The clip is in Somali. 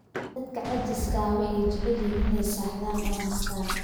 Dadka caajiska ah waxay jecel yihiin inay seexdaan oo nastaan